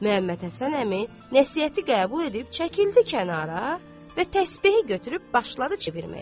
Məmmədhəsən əmi nəsihəti qəbul eləyib, çəkildi kənara və təsbehi götürüb başladı çevirməyə.